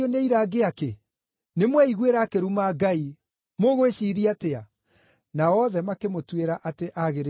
Nĩmweiguĩra akĩruma Ngai. Mũgwĩciiria atĩa?” Nao othe makĩmũtuĩra atĩ aagĩrĩirwo nĩ kũũragwo.